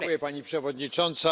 Pani Przewodnicząca!